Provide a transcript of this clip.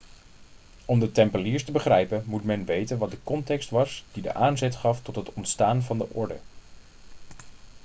om de tempeliers te begrijpen moet men weten wat de context was die de aanzet gaf tot het ontstaan van de orde